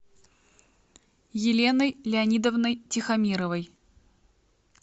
еленой леонидовной тихомировой